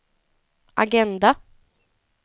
agenda